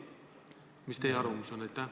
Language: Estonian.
Milline on teie arvamus?